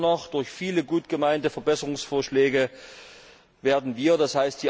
Schlimmer noch, durch viele gut gemeinte Verbesserungsvorschläge werden wir, d.